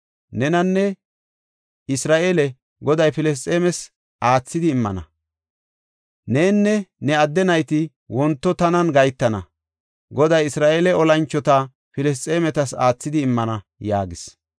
Nenanne Isra7eele, Goday Filisxeemetas aathidi immana; nenne ne adde nayti wonto tanan gahetana; Goday Isra7eele olanchota Filisxeemetas aathidi immana” yaagis.